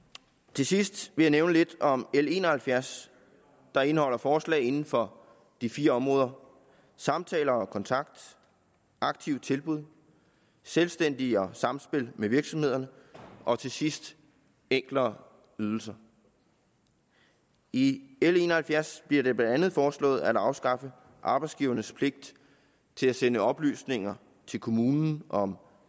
til sidst jeg nævne lidt om l en og halvfjerds der indeholder forslag inden for de fire områder samtale og kontakt aktive tilbud selvstændige og samspil med virksomhederne og til sidst enklere ydelser i l en og halvfjerds bliver det blandt andet foreslået at afskaffe arbejdsgivernes pligt til at sende oplysninger til kommunen om